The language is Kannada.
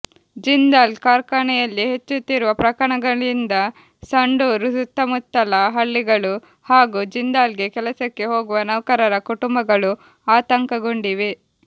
ಜಿಂದಾಲ್ ಕಾರ್ಖಾನೆಯಲ್ಲಿ ಹೆಚ್ಚುತ್ತಿರುವ ಪ್ರಕರಣಗಳಿಂದ ಸಂಡೂರು ಸುತ್ತಮುತ್ತಲ ಹಳ್ಳಿಗಳು ಹಾಗೂ ಜಿಂದಾಲ್ಗೆ ಕೆಲಸಕ್ಕೆ ಹೋಗುವ ನೌಕರರ ಕುಟುಂಬಗಳು ಆತಂಕಗೊಂಡಿವೆ